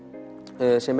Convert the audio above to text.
sem